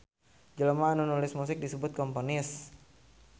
Jelema anu nulis musik disebut komponis.